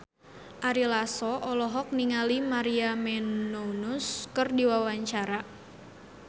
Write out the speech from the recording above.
Ari Lasso olohok ningali Maria Menounos keur diwawancara